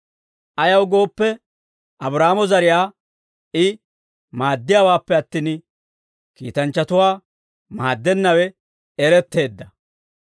Ayaw gooppe, Abraahaama zariyaa I maaddiyaawaappe attin, kiitanchchatuwaa maaddennawe eretteedda.